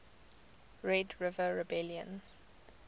red river rebellion